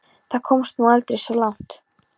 Það komst nú aldrei svo langt.